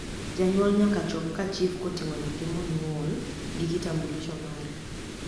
janyuol nyaka chop ka chif kotingo nyathi monyuol gi kitambulisho mare